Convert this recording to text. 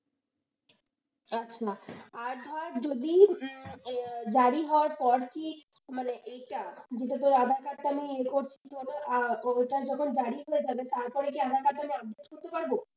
আচ্ছা আর ধর যদি জারি হওয়ার পর কি মানে এটা যদি aadhaar card টা আমি ইয়ে করছি ওইটা যখন জারি হয়ে যাবে তারপরে কি aadhaar card টা update করতে পারব?